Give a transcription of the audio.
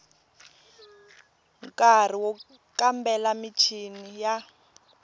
nkari wo kambela michini ya